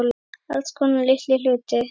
Alls konar litla hluti.